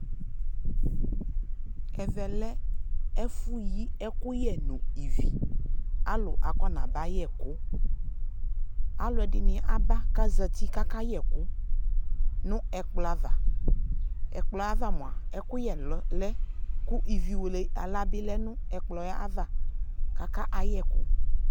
Ɛvɛ lɛ ɛfʋ yi ɛkʋyɛ nʋ ivi Alʋ akɔnabs yɛ ɛkʋ Alʋɛdɩnɩ aba k'azati k'aka yɛ ɛkʋ nʋ ɛkplɔ ava Ɛkplɔ yɛ ava mʋa, ɛkʋyɛ lɛ kʋ ivi wele aɣla bɩ lɛ nʋ ɛkplɔ yɛ ava k'aka yɛkʋ